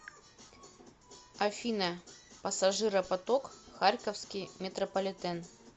афина пассажиропоток харьковский метрополитен